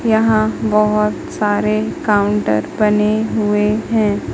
यहां बहुत सारे काउंटर बने हुए हैं।